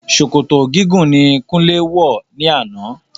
Sòkòtò gígùn ni Kúnlé will ní àná.